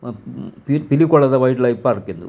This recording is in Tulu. ಪಿ ಪಿಲಿಕುಲದ ವೈಲ್ಡ್ ಲೈಫ್ ಪಾರ್ಕ್ ಇಂದು .